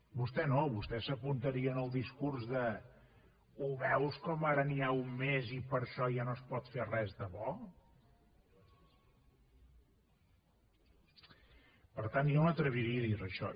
vostè no vostè s’apuntaria en el discurs de ho veus com ara n’hi ha un mes i per això ja no es pot fer res de bo per tant jo m’atreviria a dir li això